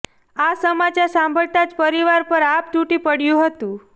આ સમાચાર સાંભળતા જ પરિવાર પર આભ તૂટી પડ્યું હતું